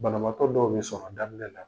Banabaatɔ dɔw be sɔn a daminɛ la